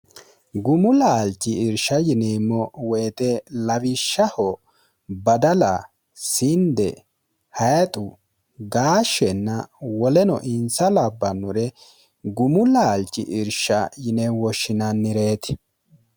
gumu laalchi irsha yiniimmo woyixe lawishshaho badala siinde hayixu gaashshenna woleno insa labbannure gumu laalchi irsha yine woshshinannireeti